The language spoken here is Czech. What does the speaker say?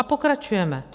A pokračujeme.